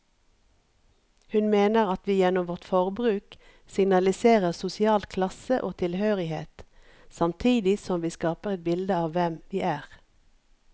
Hun mener at vi gjennom vårt forbruk signaliserer sosial klasse og tilhørighet, samtidig som vi skaper et bilde av hvem vi er.